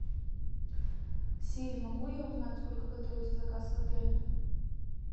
сири могу я узнать сколько готовится заказ в отеле